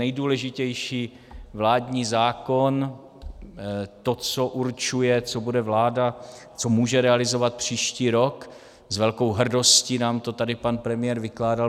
Nejdůležitější vládní zákon, to, co určuje, co bude vláda, co může realizovat příští rok, s velkou hrdostí nám to tady pan premiér vykládal.